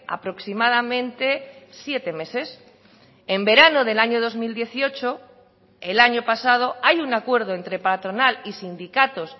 aproximadamente siete meses en verano del año dos mil dieciocho el año pasado hay un acuerdo entre patronal y sindicatos